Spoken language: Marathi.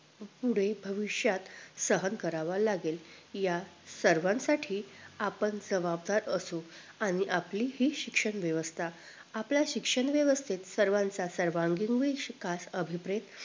पुढे भविष्यात सहन करावा लागेल या सर्वांसाठी आपण जबाबदार असू आणि हि आपली शिक्षण व्यवस्था आपल्या शिक्षण व्यवस्थेत सर्वांचा सर्वांगीण विकास अभिप्रेत